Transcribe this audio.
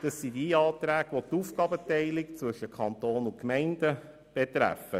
Es handelt sich um jene Anträge, die die Aufteilung zwischen Kanton und Gemeinden betreffen.